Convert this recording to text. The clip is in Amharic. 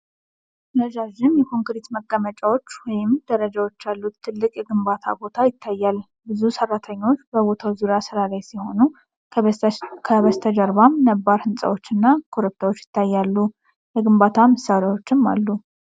ረዣዥም የኮንክሪት መቀመጫዎች ወይም ደረጃዎች ያሉት ትልቅ የግንባታ ቦታ ይታያል። ብዙ ሰራተኞች በቦታው ዙሪያ ስራ ላይ ሲሆኑ፣ ከበስተጀርባም ነባር ህንጻዎች እና ኮረብታዎች ይታያሉ። የግንባታ መሳሪያዎችም አሉ።